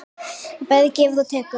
Það bæði gefur og tekur.